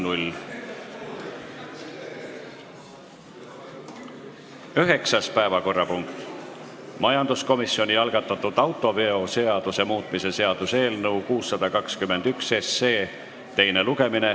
Üheksas päevakorrapunkt: majanduskomisjoni algatatud autoveoseaduse muutmise seaduse eelnõu 621 teine lugemine.